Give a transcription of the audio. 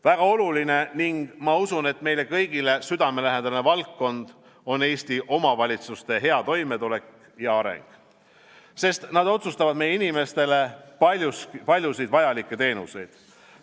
Väga oluline ning ma usun, et meile kõigile südamelähedane valdkond on Eesti omavalitsuste hea toimetulek ja areng, sest nad osutavad meie inimestele paljusid vajalikke teenuseid.